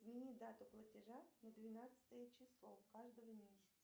измени дату платежа на двенадцатое число каждого месяца